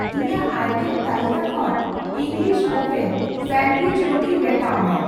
ᱤᱧᱟᱜ ᱟᱭᱴᱮᱢ ᱛᱟᱹᱞᱤᱠᱟ ᱠᱷᱚᱱ ᱤᱝᱜᱞᱤᱥ ᱳᱵᱷᱮᱱ ᱥᱟᱱᱚᱰᱭᱩᱤᱡ ᱨᱩᱴᱤ ᱢᱮᱴᱟᱣ ᱢᱮ ᱾